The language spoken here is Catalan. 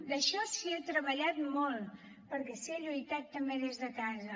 en això s’hi ha treballat molt perquè s’hi ha lluitat també des de casa